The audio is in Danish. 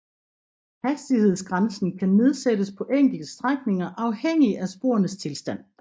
Hastighedsgrænsen kan nedsættes på enkelte strækninger afhængig af sporenes tilstand